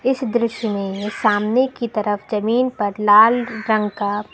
इस दृश्य में सामने की तरफ जमीन पर लाल रंग का--